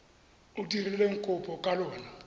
o dirileng kopo ka lona